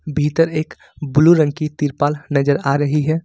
भीतर एक ब्लू रंग की तिरपाल नजर आ रही है।